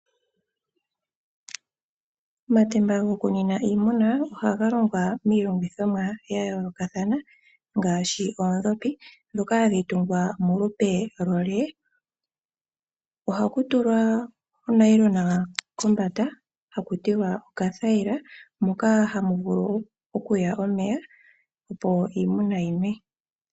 Omatemba goku nwina iimuna ohaga longwa miilongithomwa yayoolokathana, ngaashi oondhopi ndhoka hadhi tungwa molupe lweyi. Ohaku tulwa onayilona kombanda haku tiwa okathayila, moka hamu tulwa omeya opo iimuna yi nwe.